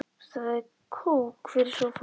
Það er kók fyrir sófann.